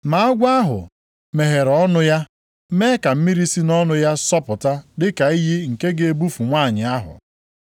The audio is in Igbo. Ma agwọ ahụ meghere ọnụ ya mee ka mmiri si nʼọnụ ya sọpụta dịka iyi nke ga-ebufu nwanyị ahụ.